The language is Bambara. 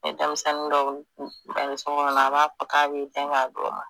Ni denmisɛnnin dɔ ba bɛ sokɔnɔ a b'a fɔ k'a b'a di o ma